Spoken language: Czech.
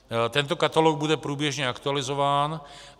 Tento katalog bude průběžně aktualizován.